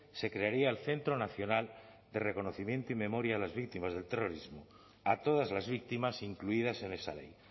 se crearía el centro nacional de reconocimiento y memoria a las víctimas del terrorismo a todas las víctimas incluidas en esa ley